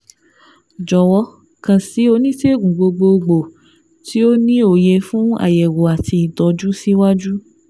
Jọ̀wọ́ kàn sí Onísègùn Gbogbogbò tí ó ní òye fún àyẹ̀wò àti ìtọ́jú síwájú